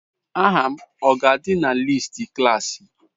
Aha m ọ ga-adị na listi klaasị?